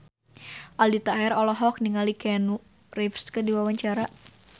Aldi Taher olohok ningali Keanu Reeves keur diwawancara